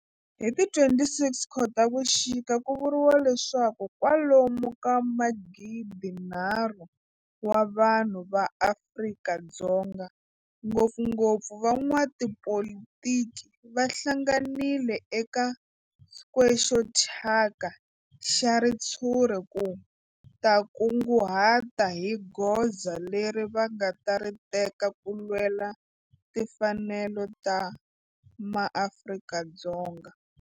Hi ti 26 Khotavuxika ku vuriwa leswaku kwalomu ka magidinharhu wa vanhu va Afrika-Dzonga, ngopfungopfu van'watipolitiki va hlanganile eka square xo thyaka xa ritshuri ku ta kunguhata hi goza leri va nga ta ri teka ku lwela timfanelo ta maAfrika-Dzonga.